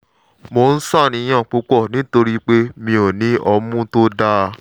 mò ń ṣàníyàn púpọ̀ nítorí pé mi ò ní ọmú tó dáa